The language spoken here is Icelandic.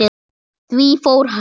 Því fór fjarri.